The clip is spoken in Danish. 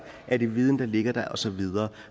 er den viden der ligger der og så videre